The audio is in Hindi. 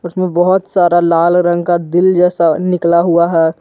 बहोत सारा लाल रंग का दिल जैसा निकला हुआ है।